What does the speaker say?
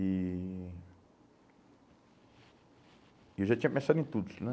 E eu já tinha pensado em tudo, né?